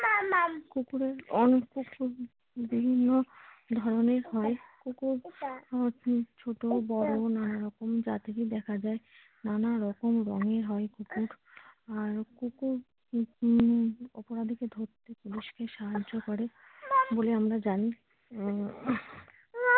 নানারকম জাতিতে দেখা যায় নানারকম রঙের হয় কুকুর আর কুকুর উম অপরাধী কে ধরতে পুলিশকে সাহায্য করে বলে আমরা জানি আহ ।